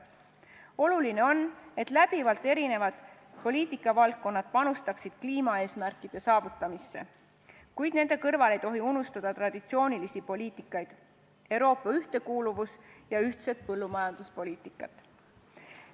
Oluline on, et eri poliitikavaldkonnad panustaksid kliimaeesmärkide saavutamisse, kuid nende kõrval ei tohi unustada traditsioonilisi poliitikaid: Euroopa ühtekuuluvuspoliitikat ja ühtset põllumajanduspoliitikat.